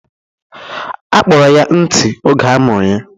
A kpọrọ ya ntị oge amụrụ ya